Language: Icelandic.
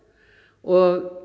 og